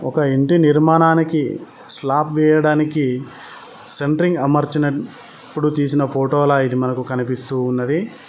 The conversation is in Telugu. ఒక ఇంటి నిర్మాణానికి స్లాబ్ వేయడానికి సెంట్రింగ్ అమర్చిన ప్పుడు తీసిన ఫోటోలా ఇది మనకు కనిపిస్తూ ఉన్నది.